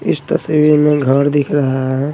इस तस्वीर में घर दिख रहा हैं।